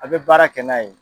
A bɛ baara kɛ n'a ye.